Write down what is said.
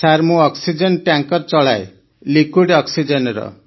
sir ମୁଁ oxygen tanker ଚଲାଏ liquid ଅକ୍ସିଜେନର